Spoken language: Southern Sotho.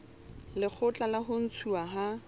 lekgotla la ho ntshuwa ha